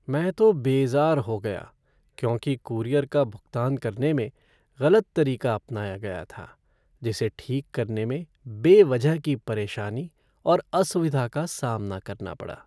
में तो बेज़ार हो गया क्योंकि कूरियर का भुगतान करने में गलत तरीका अपनाया गया था, जिसे ठीक करने में बेवजह की परेशानी और असुविधा का सामना करना पड़ा।